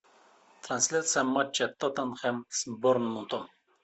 трансляция матча тоттенхэм с борнмутом